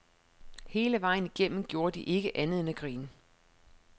Hele vejen igennem gjorde de ikke andet end at grine.